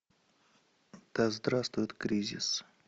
да здравствует кризис